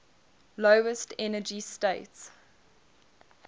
lowest energy state